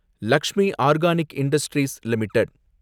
Lakshmi organic industries limited